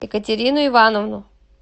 екатерину ивановну